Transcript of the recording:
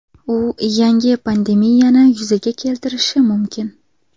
U yangi pandemiyani yuzaga keltirishi mumkin.